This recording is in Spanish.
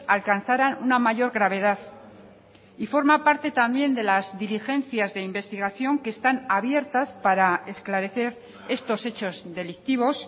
alcanzaran una mayor gravedad y forma parte también de las diligencias de investigación que están abiertas para esclarecer estos hechos delictivos